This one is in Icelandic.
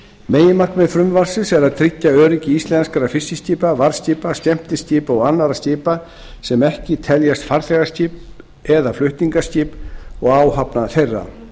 meginmarkmið frumvarpsins er að tryggja öryggi íslenskra fiskiskipa varðskipa skemmtiskipa og annarra skipa sem ekki teljast farþegaskip eða flutningaskip og áhafna þeirra